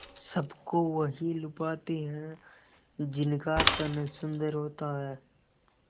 सबको वही लुभाते हैं जिनका तन सुंदर होता है